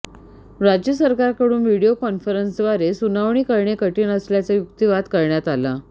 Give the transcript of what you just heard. राज्य सरकारकडून व्हिडिओ कॉन्फरन्सद्वारे सुनावणी करणे कठीण असल्याचा युक्तीवाद करण्यात आला